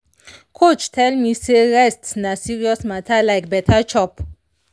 coach tell me say rest na serious matter like better chop.